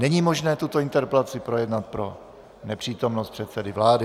Není možné tuto interpelaci projednat pro nepřítomnost předsedy vlády.